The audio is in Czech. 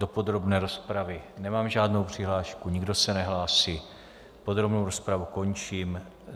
Do podrobné rozpravy nemám žádnou přihlášku, nikdo se nehlásí, podrobnou rozpravu končím.